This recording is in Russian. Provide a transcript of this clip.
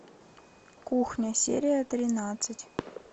кухня серия тринадцать